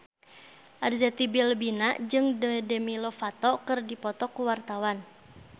Arzetti Bilbina jeung Demi Lovato keur dipoto ku wartawan